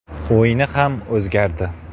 O‘yini ham o‘zgardi.